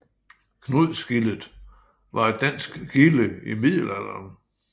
Knudsgildet var et dansk gilde i middelalderen